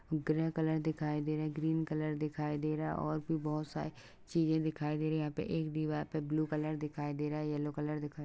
Grey colour दिखाई दे रहा है ग्रीन कलर दिखाई दे रहा और भी बोहोत सारी चीजें दिखाई दे रही हैं। यहाँ पे एक दीवार पे ब्लू कलर दिखाई दे रहा है। येलो कलर दिखाई --